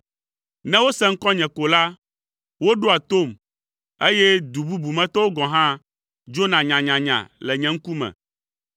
Ne wose ŋkɔnye ko la, woɖoa tom, eye du bubu me tɔwo gɔ̃ hã dzona nyanyanya le nye ŋkume.